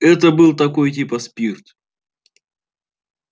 это был такой типа спирт